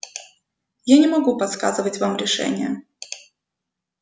я не могу подсказать вам решение